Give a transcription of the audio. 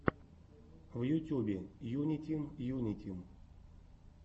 в ютюбе юнитим юнитим